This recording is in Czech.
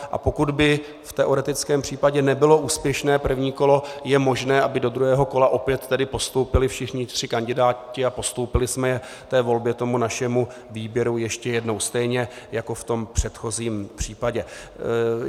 A pokud by v teoretickém případě nebylo úspěšné první kolo, je možné, aby do druhého kole opět tedy postoupili všichni tři kandidáti a postoupili jsme je té volbě, tomu našemu výběru ještě jednou stejně jako v tom předchozím případě.